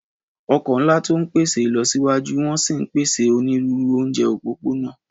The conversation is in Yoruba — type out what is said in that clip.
Ọkọ̀ ńlá tó ń pèsè ìlọsíwájú wọ́n sì ń pèsè onírúurú oúnjẹ òpópónà.